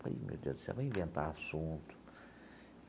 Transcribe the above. Falei ih meu Deus do céu, vou inventar assunto.